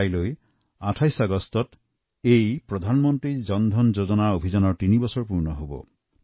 কাইলৈ ২৮ আগষ্টত প্ৰধানমন্ত্ৰী জন ধন যোজনাৰ তিনি বছৰ সম্পূৰ্ণ হব